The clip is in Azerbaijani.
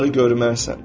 Bunları görmərsən.